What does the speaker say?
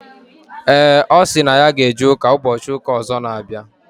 Ee, ọ sịrị na ya ga eje ụka n'ụbọchị ụka ọzọ n'abịa